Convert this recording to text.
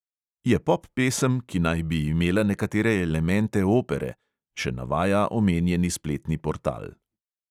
"Je pop pesem, ki naj bi imela nekatere elemente opere," še navaja omenjeni spletni portal.